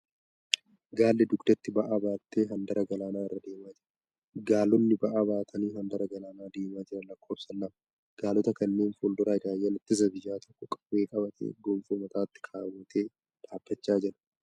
Gaalli dugdatti bba'aa baattee handaara galaanaa irra deemaa jira. Gaalonni ba'aa baatanii handaara galaana deemaa jiran lakkoofsan lama. Gaalota kanneen fuuldura raayyaan ittisa biyyaa tokko qawwee qabatee gonfoo mataatti keewwatee dhaabbacha jira.